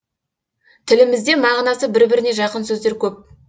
тілімізде мағынасы бір біріне жақын сөздер көп